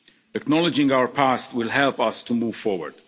region. Acknowledging our past will help us to move forward.